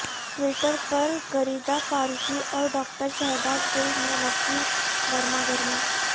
Twitter پر غریدہ فاروقی اور doctor Shahbaz Gill میں لفظی گرما گرمی